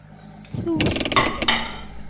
Þú skilur mig.